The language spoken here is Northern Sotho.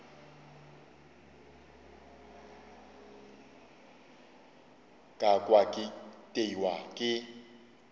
ka kwa ke itiwa ke